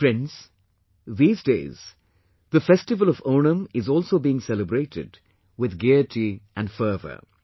Friends, these days, the festival of Onam is also being celebrated with gaiety and fervour